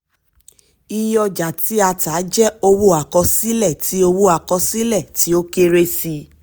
iye ọjà tí a tà jẹ́ owó àkọsílẹ̀ tí owó àkọsílẹ̀ tí ó kéré sí i.